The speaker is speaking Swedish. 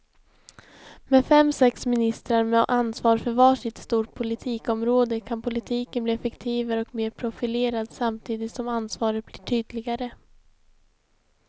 Med fem, sex ministrar med ansvar för var sitt stort politikområde kan politiken bli effektivare och mer profilerad samtidigt som ansvaret blir tydligare.